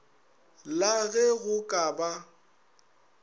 la ge go ka ba